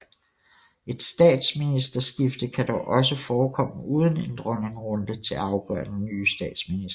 Et statsministerskifte kan dog også forekomme uden en dronningerunde til at afgøre den nye statsminister